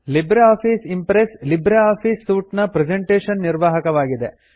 Libre Office Impress Libre Office suite ನ presentation ನಿರ್ವಾಹಕವಾಗಿದೆ